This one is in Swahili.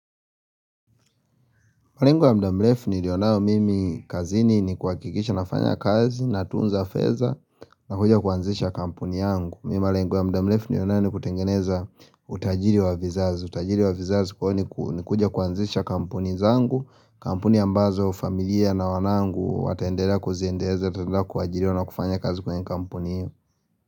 Malengo ya mudamrefu nilionao mimi kazini ni kuhakikisha nafanya kazi na tunza fedha na kuja kuanzisha kampuni yangu. Mimi malengo wa mudamrefu ni liwanao ni kutengeneza utajiri wa vizazi. Utajiri wa vizazi kwao ni kuja kuanzisha kampuni zangu, kampuni ambazo familia na wanangu watendela kuziendeza, tatenda kuajiriwa na kufanya kazi kwenye kampuni yu.